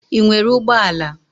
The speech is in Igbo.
Ị nwere ụgbọ ala?